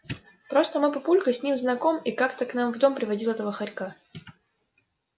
просто мой папулька с ним знаком и как-то к нам в дом приводил этого хорька